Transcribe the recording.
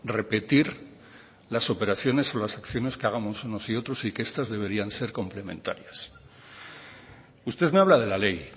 repetir las operaciones o las acciones que hagamos unos y otros y que estas deberían ser complementarias usted me habla de la ley